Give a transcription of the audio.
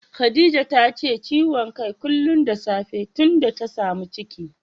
Khadijat tace ciwon kai kullum da safe tunda ta samu ciki